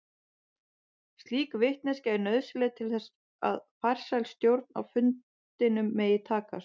Slík vitneskja er nauðsynleg til þess að farsæl stjórn á fundinum megi takast.